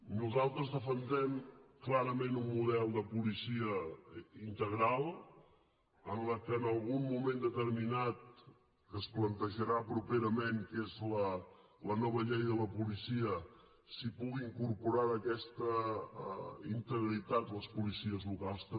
nosaltres defensem clarament un model de policia integral en què en algun moment determinat que es plantejarà properament que és la nova llei de la policia s’hi puguin incorporar d’aquesta integritat les policies locals també